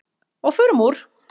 Og förum úr.